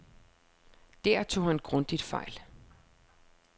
Der tog han grundigt fejl.